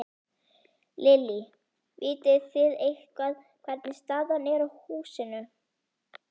Lillý: Vitið þið eitthvað hvernig staðan er á húsinu?